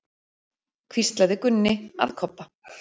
hvíslaði Gunni að Kobba.